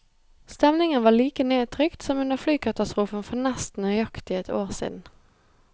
Stemningen var like nedtrykt som under flykatastrofen for nesten nøyaktig ett år siden.